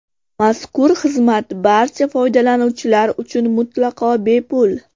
Mazkur xizmat barcha foydalanuvchilar uchun mutlaqo bepul.